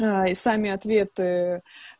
да и сами ответы